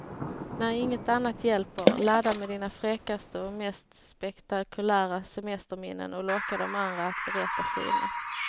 När inget annat hjälper, ladda med dina fräckaste och mest spektakulära semesterminnen och locka de andra att berätta sina.